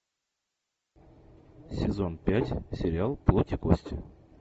сезон пять сериал плоть и кости